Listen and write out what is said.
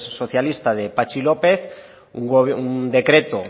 socialista de patxi lópez un decreto